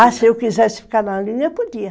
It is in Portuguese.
Ah, se eu quisesse ficar na linha, eu podia.